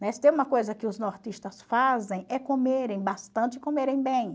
Né? Se tem uma coisa que os nortistas fazem é comerem bastante e comerem bem.